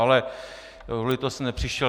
Ale kvůli tomu jsem nepřišel.